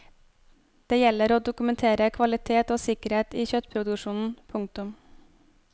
Det gjelder å dokumentere kvalitet og sikkerhet i kjøttproduksjonen. punktum